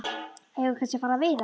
Eigum við kannski að fara að veiða?